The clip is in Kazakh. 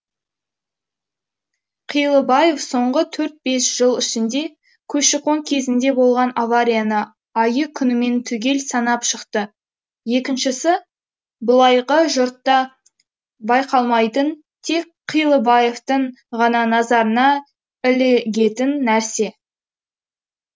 қилыбаев соңғы төрт бес жыл ішінде көші қон кезінде болған аварияны айы күнімен түгел санап шықты екіншісі былайғы жұртқа байқалмайтын тек қилыбаевтың ғана назарына ілігетін нәрсе